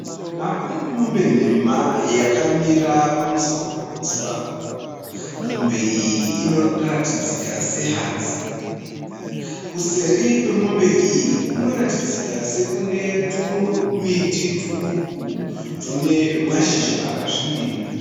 Pane mombe nhema yakamira pamusoro pehuswa. Mombe iyi inoratidzika sehadzi, kuseri kwemombe iyi kunoratidzika sekune tumiti tuduku tune mashizha akasvibirira.